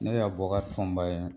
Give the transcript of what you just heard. Ne ye Abuakari Fɔnba ye